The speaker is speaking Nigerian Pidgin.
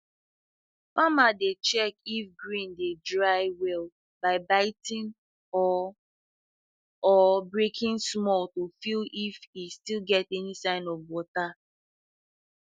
farmer dey check if grain dry well by biting or or breaking small to feel if he still get any sign of water